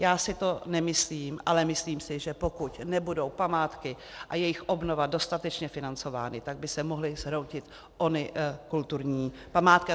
Já si to nemyslím, ale myslím si, že pokud nebudou památky a jejich obnova dostatečně financovány, tak by se mohly zhroutit ony kulturní památky.